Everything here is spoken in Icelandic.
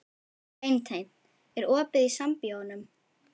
Beinteinn, er opið í Sambíóunum?